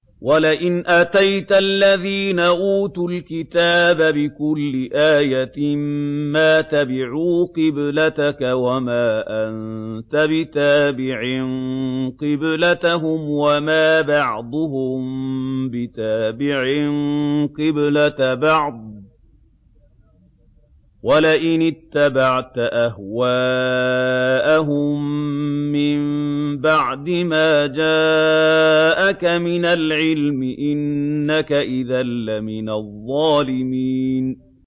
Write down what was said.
وَلَئِنْ أَتَيْتَ الَّذِينَ أُوتُوا الْكِتَابَ بِكُلِّ آيَةٍ مَّا تَبِعُوا قِبْلَتَكَ ۚ وَمَا أَنتَ بِتَابِعٍ قِبْلَتَهُمْ ۚ وَمَا بَعْضُهُم بِتَابِعٍ قِبْلَةَ بَعْضٍ ۚ وَلَئِنِ اتَّبَعْتَ أَهْوَاءَهُم مِّن بَعْدِ مَا جَاءَكَ مِنَ الْعِلْمِ ۙ إِنَّكَ إِذًا لَّمِنَ الظَّالِمِينَ